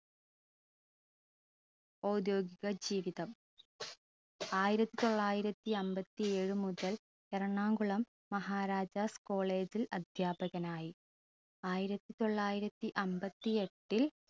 ഔദ്യോഗിക ജീവിതം ആയിരത്തി തൊള്ളായിരത്തി അമ്പത്തി ഏഴു മുതൽ എറണാകുളം മഹാരാജാസ് college ൽ അധ്യാപകനായി ആയിരത്തി തൊള്ളായിരത്തി അമ്പത്തി എട്ടിൽ